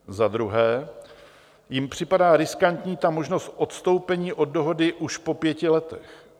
Za druhé jim připadá riskantní ta možnost odstoupení od dohody už po pěti letech.